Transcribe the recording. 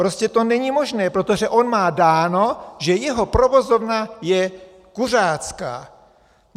Prostě to není možné, protože on má dáno, že jeho provozovna je kuřácká.